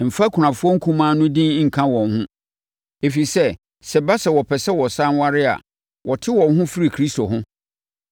Mfa akunafoɔ nkumaa no din nka wɔn ho. Ɛfiri sɛ, sɛ ɛba sɛ wɔpɛ sɛ wɔsane ware a, wɔte wɔn ho firi Kristo ho